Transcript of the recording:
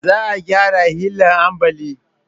Za a gyara hila ambali